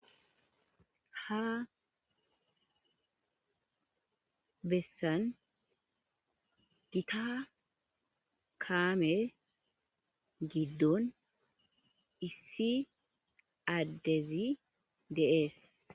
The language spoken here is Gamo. Ha bessan gita kaame giddon issi addezi dees.